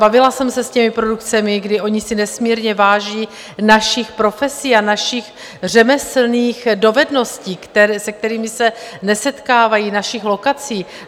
Bavila jsem se s těmi produkcemi, kdy oni si nesmírně váží našich profesí a našich řemeslných dovedností, s kterými se nesetkávají, našich lokací.